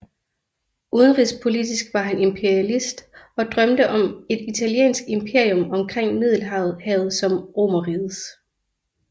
Udenrigspolitisk var han imperialist og drømte om et italiensk imperium omkring Middelhavet som Romerrigets